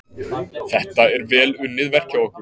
Þetta er vel unnið verk hjá okkur.